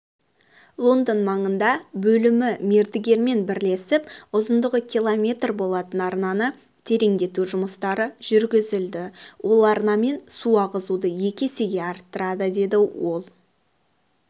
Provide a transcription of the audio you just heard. лондон маңында бөлімі мердігермен бірлесіп ұзындығы км болатын арнаны тереңдету жұмыстары жүргізілді ол арнамен су ағызуды екі есеге арттырады деді ол